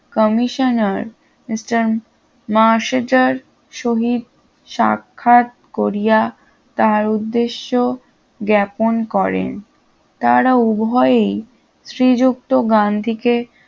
commissioner mister মাসেডার সহিত সাক্ষাৎ করিয়া তার উদ্দেশ্য জ্ঞ্যাপন করেন তারা উভয়েই শ্রীযুক্ত গান্ধীকে